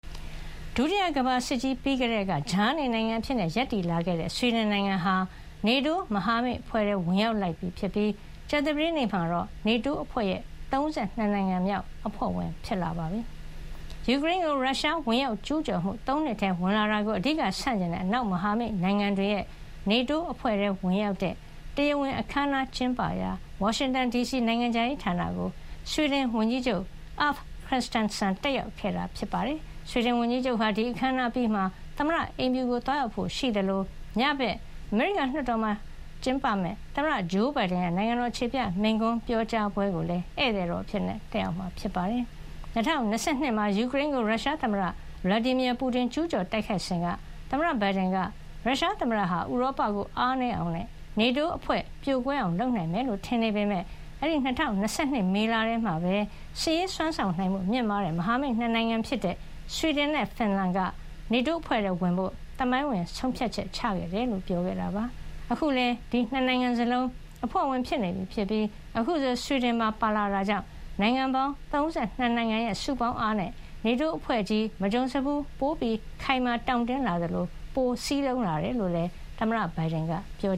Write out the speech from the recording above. ဒုတိယကမ္ဘာစစ်ကြီး ပြီးကတည်းက ကြားနေနိုင်ငံ အဖြစ်ရပ်တည်လာခဲ့တဲ့ ဆွီဒင်နိုင်ငံဟာ NATO မဟာမိတ်အဖွဲ့ထဲ ဝင်ရောက်လိုက်ပြီ ဖြစ်ပြီး ကြာသပတေးနေ့မှာတော့ NATO အဖွဲ့ရဲ့ ၃၂ နိုင်ငံမြောက် အဖွဲ့ဝင် ဖြစ်လာပါပြီ။ ယူကရိန်းကို ရုရှားဝင်ရောက် ကျူးကျော်မှု ၃ နှစ်ထဲဝင်လာတာကို အဓိက ဆန့်ကျင်တဲ့ အနောက်မဟာမိတ်နိုင်ငံတွေရဲ့ NATO အဖွဲ့ထဲဝင်ရောက်တဲ့ တရားဝင်အခမ်းအနားကျင်းပရာ ဝါရှင်တန်ဒီစီ နိုင်ငံခြားရေးဌာနကို ဆွီဒင်ဝန်ကြီးချုပ် Ulf Kristersson တက်ရောက်ခဲ့တာပါ။ အခမ်းအနားအပြီးမှာ ဆွီဒင်ဝန်ကြီးချုပ် ဟာ သမ္မတအိမ်ဖြူကို သွားရောက်ဖို့ရှိသလို ညဘက်အမေရိကန် လွှတ်တော်မှာ သမ္မတဂျိုးဘိုင်ဒန်ရဲ့ နိုင်ငံတော် အခြေပြမိန့်ခွန်းပြောကြားပွဲကိုလည်း ဧည့်သည်တော် အဖြစ်တက်ရောက်မှာ ဖြစ်ပါတယ်။ ၂၀၂၂ မှာ ယူကရိန်းကို ရုရှားသမ္မတ Vladimir Putin ကျူးကျော်တိုက်ခိုက်စဉ် သမ္မတဘိုင်ဒန်က ရုရှားသမ္မတဟာ ဥရောပကို အားနည်းအောင်နဲ့ NATO အဖွဲ့ ပြိုကွဲအောင်လုပ်နိုင်မယ်လို့ထင်နေပေမယ့် အဲဒီ ၂၀၂၂ မေလထဲမှာပဲ စစ်ရေးစွမ်းဆောင်မှုမြင့်မားတဲ့ မဟာမိတ် ၂ နိုင်ငံဖြစ်တဲ့ ဆွီဒင်နဲ့ ဖင်လန်က NATO အဖွဲ့ထဲဝင်ဖို့ သမိုင်းဝင်ဆုံးဖြတ်ချက်ချခဲ့တယ်လို့ ပြောခဲ့တာပါ။ အခုလည်း ဒီ ၂ နိုင်ငံစလုံး အဖွဲ့ဝင်ဖြစ်နေပြီဖြစ်ပြီး အခုဆွီဒင်ပါ ပါဝင်လာတာကြောင့် နိုင်ငံပေါင်း ၃၂ နိုင်ငံရဲ့ စုပေါင်းအားနဲ့ NATO အဖွဲ့ ကြီး မကြုံစဖူး ပိုခိုင်မာတောင့်တင်း လာသလို ပိုမိုစည်းလုံးလာတယ်လို့ သမ္မတဘိုင်ဒန်က ပြော